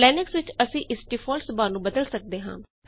ਪਰ ਲਿਨਕਸ ਵਿੱਚ ਅਸੀਂ ਇਸ ਡਿਫਾਲਟ ਸੁਭਾਅ ਨੂੰ ਬਦਲ ਸਕਦੇ ਹਾਂ